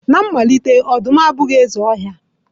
Na mmalite, ọdụm abụghị eze ọhịa.